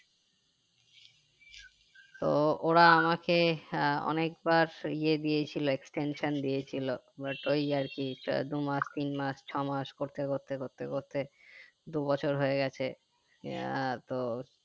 তো ওরা আমাকে আহ অনেক বার এ দিয়ে ছিল extension দিয়েছিলো but ওই আরকি তো দু মাস তিন মাস ছয় মাস করতে করতে করতে করতে দু বছর হয়ে গেছে আহ তো